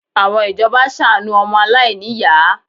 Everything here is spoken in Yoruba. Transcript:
Àwọn ìjọba ṣàánú ọmọ aláìníyàá